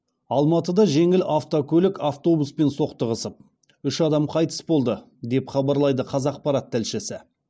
алматыда жеңіл автокөлік автобуспен соқтығысып үш адам қайтыс болды деп хабарлайды қазақпарат тілшісі